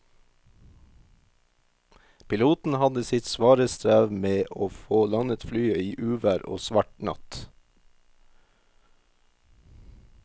Piloten hadde sitt svare strev med å få landet flyet i uvær og svart natt.